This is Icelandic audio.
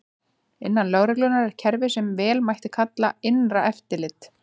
Innan lögreglunnar er kerfi sem vel mætti kalla innra eftirlit.